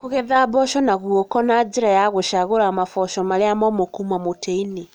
Kũgetha mboco na guoko na njĩra ya gũcagura maboco marĩa momũ kuuma mũtĩ-inĩ.